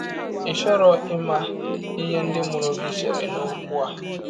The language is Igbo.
Ị̀ chọrọ ịma ihe ndị mụrụ gị chere n’ọkwụ a?